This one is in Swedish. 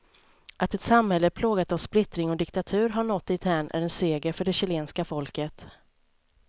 Att ett samhälle plågat av splittring och diktatur har nått dithän är en seger för det chilenska folket.